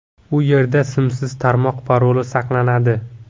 U yerda simsiz tarmoq paroli saqlanadi.